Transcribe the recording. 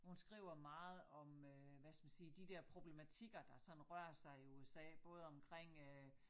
Hun skriver meget om øh hvad skal man sige de dér problematikker der sådan rører sig i USA. Både omkring øh